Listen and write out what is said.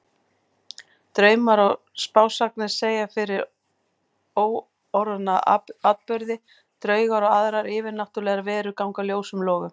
Draumar og spásagnir segja fyrir óorðna atburði, draugar og aðrar yfirnáttúrlegar verur ganga ljósum logum.